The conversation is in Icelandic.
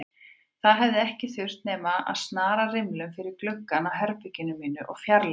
Það hefði ekki þurft nema að snara rimlum fyrir gluggann á herberginu mínu og fjarlægja